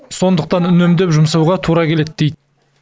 сондықтан үнемдеп жұмасауға тұра келеді дейді